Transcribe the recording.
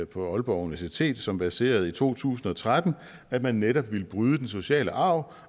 på aalborg universitet som verserede i to tusind og tretten at man netop ville bryde den sociale arv